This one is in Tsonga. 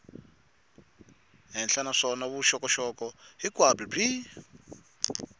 henhla naswona vuxokoxoko hinkwabyo byi